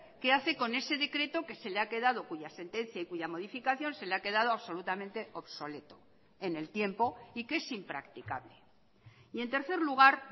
qué hace con ese decreto que se le ha quedado cuya sentencia y cuya modificación se le ha quedado absolutamente obsoleto en el tiempo y que es impracticable y en tercer lugar